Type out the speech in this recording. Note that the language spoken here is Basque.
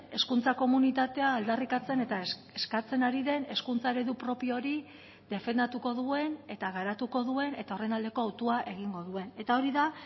hezkuntza komunitatea aldarrikatzen eta eskatzen ari den hezkuntza eredu propio hori defendatuko duen eta garatuko duen eta horren aldeko autua egingo duen eta hori da